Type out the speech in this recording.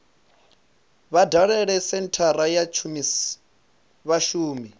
vha dalele senthara ya vhashumi